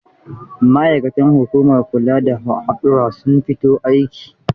Ma'aikatan hukumar kula da hadurra sun fito aiki?